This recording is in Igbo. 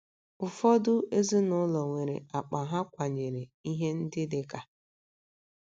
Ụfọdụ ezinụlọ nwere akpa ha kwanyere ihe ndị dị ka: *